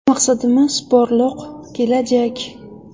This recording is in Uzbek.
Maqsadimiz porloq kelajak!